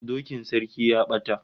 Dokin sarki ya bata